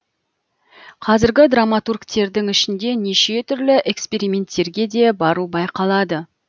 қазіргі драматургтердің ішінде неше түрлі эксперименттерге де бару байқалады